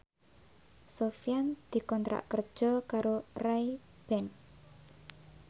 Sofyan dikontrak kerja karo Ray Ban